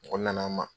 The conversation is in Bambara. Mɔgɔ nana an ma